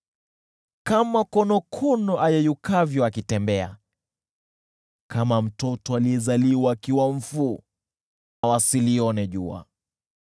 Kama konokono ayeyukavyo akitembea, kama mtoto aliyezaliwa akiwa mfu, wasilione jua.